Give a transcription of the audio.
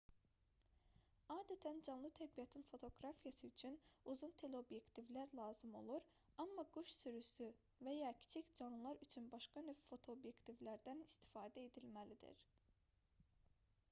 adətən canlı təbiətin fotoqrafiyası üçün uzun teleobyektivlər lazım olur amma quş sürüsü və ya kiçik canlılar üçün başqa növ fotoobyektivlərdən istifadə edilməlidir